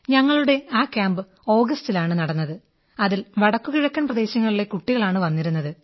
ഞങ്ങളുടെ ആ ക്യാമ്പ് ആഗസ്റ്റിലാണു നടന്നത് അതിൽ വടക്കു കിഴക്കൻ പ്രദേശങ്ങളിലെ കുട്ടികളാണ് വന്നിരുന്നത്